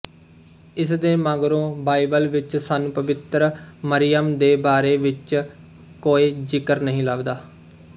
ਇਸ ਦੇ ਮਗਰੋਂ ਬਾਈਬਲ ਵਿੱਚ ਸਾਨੂੰ ਪਵਿੱਤਰ ਮਰੀਅਮ ਦੇ ਬਾਰੇ ਵਿੱਚ ਕੋਏ ਜ਼ਿਕਰ ਨਹੀਂ ਲੱਭਦਾ